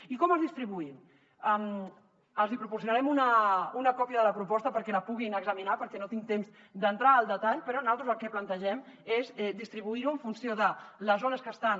i com els distribuïm els hi proporcionarem una còpia de la proposta perquè la puguin examinar perquè no tinc temps d’entrar al detall però naltros el que plantegem és distribuir ho en funció de les zones que estan